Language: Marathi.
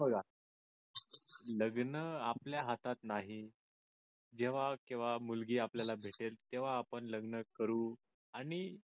हे बघा लग्न आपल्या हातात नाही जेव्हा केव्हा मुलगी आपल्याला भेटेल तेव्हा आपण लग्न करू आणि